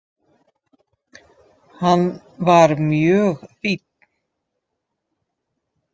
Hann var mjög fínn.